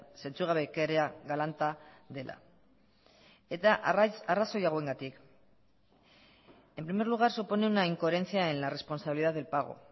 zentzugabekeria galanta dela eta arrazoi hauengatik en primer lugar supone una incoherencia en la responsabilidad del pago